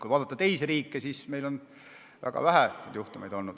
Kui vaadata teisi riike, siis on näha, et meil on väga vähe selliseid juhtumeid olnud.